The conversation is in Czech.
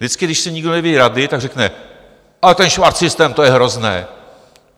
Vždycky když si někdo neví rady, tak řekne: ale ten švarcsystém, to je hrozné.